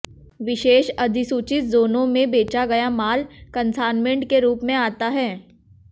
विशेष अधिसूचित जोनों में बेचा गया माल कंसान्मेंट के रूप में आता है